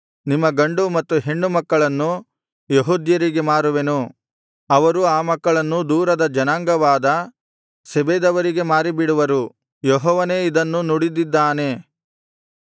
ನಿಮ್ಮ ಗಂಡು ಮತ್ತು ಹೆಣ್ಣು ಮಕ್ಕಳನ್ನು ಯೆಹೂದ್ಯರಿಗೆ ಮಾರುವೆನು ಅವರು ಆ ಮಕ್ಕಳನ್ನು ದೂರದ ಜನಾಂಗವಾದ ಶೆಬದವರಿಗೆ ಮಾರಿಬಿಡುವರು ಯೆಹೋವನೇ ಇದನ್ನು ನುಡಿದಿದ್ದಾನೆ